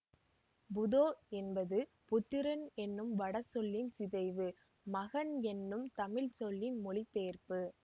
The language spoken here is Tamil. புதோ என்பது புத்திரன் என்னும் வடசொல்லின் சிதைவு மகன் என்னும் தமிழ்ச்சொல்லின் மொழிபெயர்ப்பு